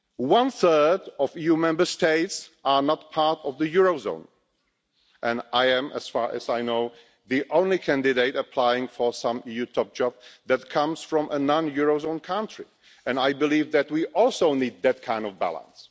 One third of EU Member States are not part of the euro area and I am, as far as I know, the only candidate applying for a top EU job who comes from a non euro area country and I believe that we also need that kind of balance.